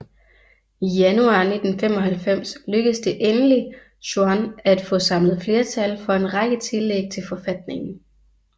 I januar 1995 lykkes det endelig Chuan at få samlet flertal for en række tillæg til forfatningen